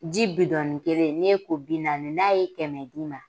Ji bidɔni kelen n'i y'i ko bi naani n'a ye kɛmɛ di i ma